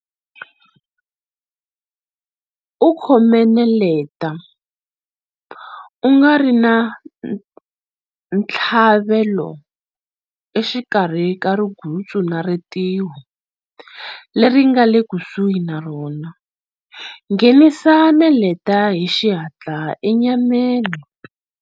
U khome neleta, u nga ri na ntshlavelo, exikarhi ka rigutsu na ritiho leri nga le kusuhi na rona, nghenisa neleta hi xihatla enyameni.